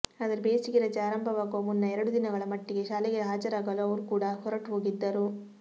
ಆದರೆ ಬೇಸಿಗೆ ರಜೆ ಆರಂಭವಾಗುವ ಮುನ್ನ ಎರಡು ದಿನಗಳ ಮಟ್ಟಿಗೆ ಶಾಲೆಗೆ ಹಾಜರಾಗಲು ಅವರೂ ಕೂಡ ಹೊರಟು ಹೋಗಿದ್ದರು